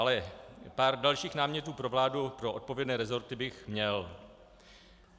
Ale pár dalších námětů pro vládu, pro odpovědné resorty, bych měl.